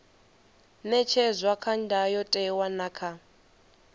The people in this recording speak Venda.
ṅetshedzwa kha ndayotewa na kha